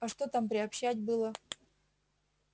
а что там приобщать было